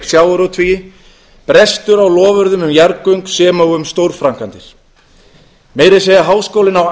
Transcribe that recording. sjávarútvegi brestur á loforðum um jarðgöng sem og um stórframkvæmdir meira að segja háskólinn á